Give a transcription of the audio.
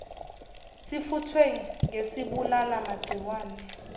sifuthwe ngesibulala magciwane